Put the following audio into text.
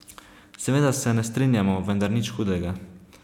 Seveda se ne strinjamo, vendar nič hudega.